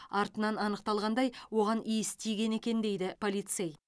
артынан анықталғандай оған иіс тиген екен дейді полицей